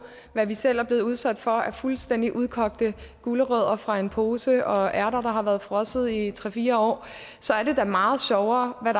hvad vi selv er blevet udsat for af fuldstændig udkogte gulerødder fra en pose og ærter der har været frosset i tre fire år så er det da meget sjovere at